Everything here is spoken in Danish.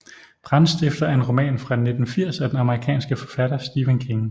Brandstifter er en roman fra 1980 af den amerikanske forfatter Stephen King